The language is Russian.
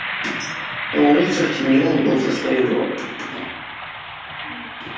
на улице в тени он был за своего